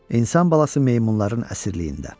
İnsan balası meymunların əsirliyində.